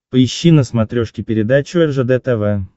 поищи на смотрешке передачу ржд тв